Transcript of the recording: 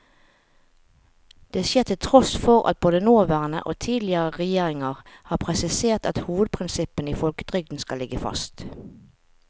Det skjer til tross for at både nåværende og tidligere regjeringer har presisert at hovedprinsippene i folketrygden skal ligge fast.